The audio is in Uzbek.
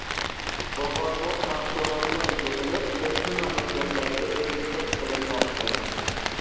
Bozorbop mahsulotlar yig‘ilib, qo‘shni mamlakatlarga eksport qilinmoqda.